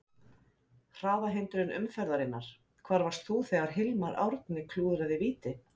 Hraðahindrun umferðarinnar: Hvar varst þú þegar Hilmar Árni klúðraði víti?